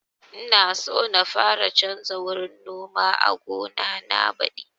Ina so na fara canza wurin noma a gona na badi